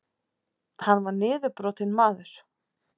Hann var niðurbrotinn maður.